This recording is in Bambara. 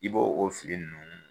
I b' o fili ninnu